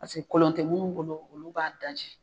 Paseke kolon tɛ minnu bolo olu b'a daji.